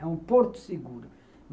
É um porto seguro.